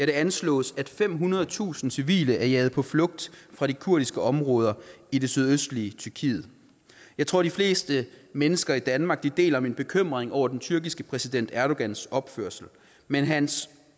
det anslås at femhundredetusind civile er jaget på flugt fra de kurdiske områder i det sydøstlige tyrkiet jeg tror de fleste mennesker i danmark deler min bekymring over den tyrkiske præsident erdogans opførsel men hans